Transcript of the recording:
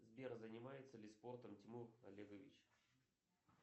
сбер занимается ли спортом тимур олегович